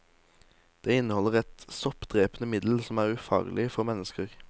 Det inneholder et soppdrepende middel som er ufarlig for mennesker.